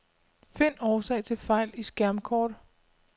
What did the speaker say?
Find årsag til fejl i skærmkort.